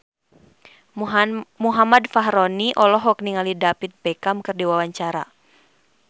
Muhammad Fachroni olohok ningali David Beckham keur diwawancara